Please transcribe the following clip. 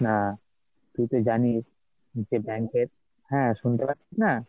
না তুই তো জানিস যে bank এর, হ্যাঁ শুনতে পাচ্ছিস না?